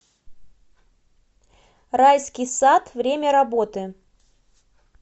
райский сад время работы